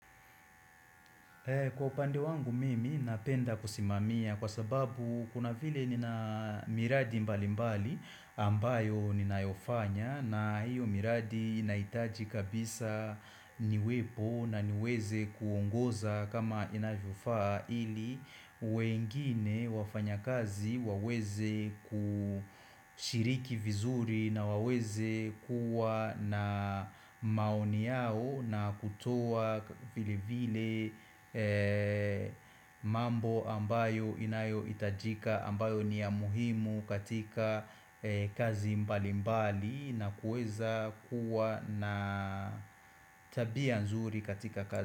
Kwa upande wangu mimi napenda kusimamia kwa sababu kuna vile nina miradi mbali mbali ambayo ninayo fanya na hiyo miradi inahitaji kabisa niwepo na niweze kuongoza kama inavyofaa ili wengine wafanya kazi waweze kushiriki vizuri na waweze kuwa na maoni yao na kutoa vile vile mambo ambayo inayo itajika ambayo ni ya muhimu katika kazi mbali mbali na kuweza kuwa na tabia nzuri katika kazi.